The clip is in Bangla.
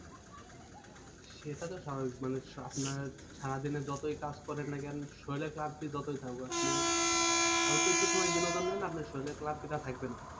সেটা তো স্বাভাবিক মানুষ আপনার সারাদিনে যতই কাজ করেন না কেন শরীরের ক্লান্তি যতোই থাকুক আপনি অল্প একটু সময় বিনোদন নেন আপনার শরীরের ক্লান্তিটা থাকবে না।